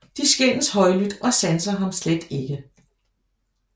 De skændes højlydt og sanser ham slet ikke